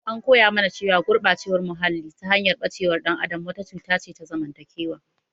An koya mana cewa gurɓacewar muhalli, ta hanyar ɓacewar ɗan adam wata cuta ce ta zamantakewa.